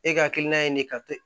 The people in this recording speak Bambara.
E hakilina ye nin ka to